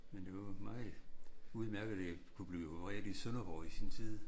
Men det var meget udemærket at jeg kunne blive opereret i Sønderborg i sin tid